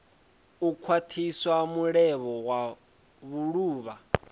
u khwathisa mulevho wa vhuluvha